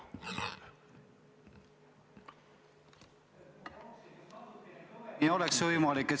Kas te saaksite natukene kõvemini rääkida?